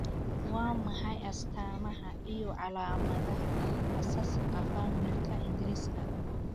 Waa maxay astamaha iyo calaamadaha Asaasaqa familika ingriska?